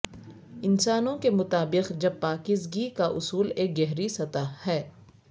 انسانوں کے مطابق جب پاکیزگی کا اصول ایک گہری سطح ہے